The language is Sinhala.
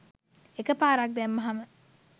එකපාරක් දැම්මහම